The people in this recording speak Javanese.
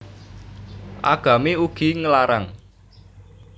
Agami ugi nglarang